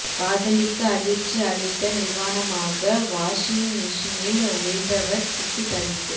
காதலிக்கு அதிர்ச்சி அளிக்க நிர்வாணமாக வாஷிங் மெஷினில் ஒளிந்தவர் சிக்கி தவிப்பு